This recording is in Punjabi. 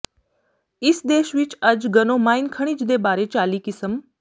ਇਸ ਦੇਸ਼ ਵਿੱਚ ਅੱਜ ਗਨੋਮਾਈਨ ਖਣਿਜ ਦੇ ਬਾਰੇ ਚਾਲੀ ਕਿਸਮ